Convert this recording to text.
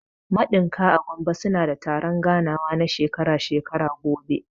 Maɗinka/ masu ɗinki a Gombe suna da taron ganawa na shekara-shekara gobe.